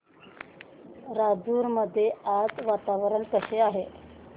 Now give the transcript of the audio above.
राजूर मध्ये आज वातावरण कसे आहे